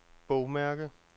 bogmærke